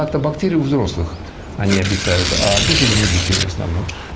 лактобактерии взрослых они обитают а бифидум у детей в основном